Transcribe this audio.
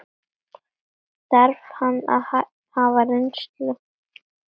Þarf hann að hafa reynslu?